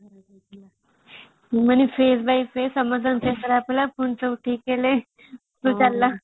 ମାନେ phrase by phrase ସମସ୍ତଙ୍କର ଦେହ ଖରାପ ହେଲା ପୁଣି ସବୁ ଠିକ ହେଲେ ପୁଣି ଚାଲିଲା